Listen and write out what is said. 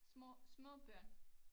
Små små børn